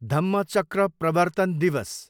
धम्मचक्र प्रवर्तन दिवस